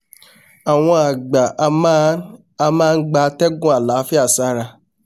àwon àgbà a máa a máa gba atẹ́gùn àláfíà sára